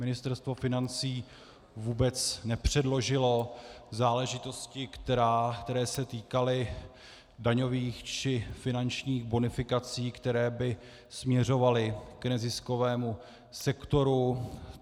Ministerstvo financí vůbec nepředložilo záležitosti, které se týkaly daňových či finančních bonifikací, které by směřovaly k neziskovému sektoru.